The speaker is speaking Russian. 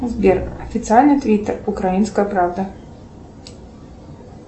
сбер официальный твиттер украинская правда